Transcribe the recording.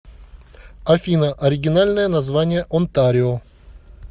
афина оригинальное название онтарио